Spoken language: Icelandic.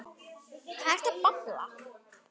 Hvað ertu að babla?